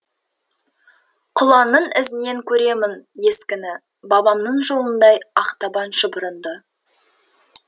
құланның ізінен көремін ескіні бабамның жолындай ақтабан шұбырынды